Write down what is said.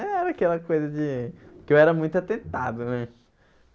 Era aquela coisa de... porque eu era muito atentado, né?